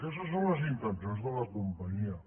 aquestes són les intencions de la companyia